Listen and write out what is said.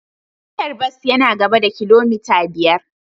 Tashar bas yana gaba da kilomita biyar.